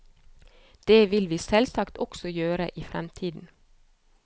Det vil vi selvsagt også gjøre i fremtiden.